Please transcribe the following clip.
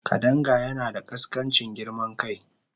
Kadanga yana da ƙaskancin girman kai.